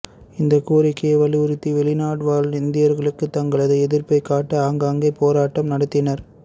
இந்த கோரிக்கையை வலியுறுத்தி வெளிநாடு வாழ் இந்தியர்களும் தங்களது எதிர்ப்பை காட்ட ஆங்காங்கே போராட்டம் நடத்தினர்